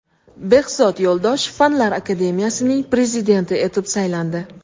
Behzod Yo‘ldoshev Fanlar akademiyasining prezidenti etib saylandi.